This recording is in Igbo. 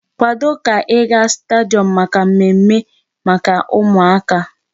Kwado ka ị ga stadium maka mmemme maka ụmụaka!